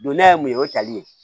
Don ne yɛrɛ mun ye o ye tali ye